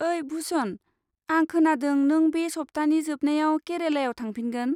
ओइ भुशन, आं खोनादों नों बे सब्थानि जोबनायाव केरालायाव थांफिनगोन?